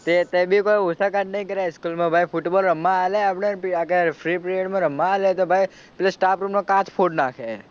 તે તે બી કઈ ઓછા કાંડ નહીં કર્યા સ્કૂલ માં ભાઈ ફૂટબોલ રમવા આલે આપડે આગળ ફ્રી પીરિયડ માં રમવા આલે ને ભાઈ સ્ટાફ રૂમ નો કાચ ફોડી નાખે હે